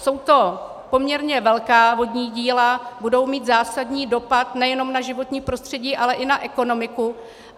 Jsou to poměrně velká vodní díla, budou mít zásadní dopad nejenom na životní prostředí, ale i na ekonomiku.